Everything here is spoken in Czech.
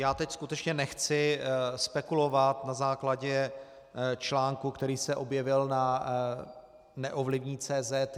Já teď skutečně nechci spekulovat na základě článku, který se objevil na Neovlivní.cz.